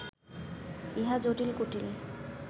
ইহা জটিল কুটিল